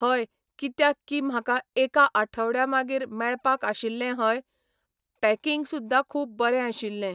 हय कित्याक की म्हाका एका आठवड्या मागीर मेळपाक आशिल्लें हय, पॅकिंग सुद्दां खूब बरें आशिल्लें.